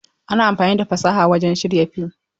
Ana amfani da fasaha wurin shirya fim.